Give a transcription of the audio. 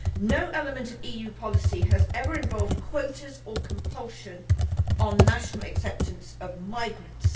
No element of EU policy has ever involved quotas or compulsion on national acceptance of migrants.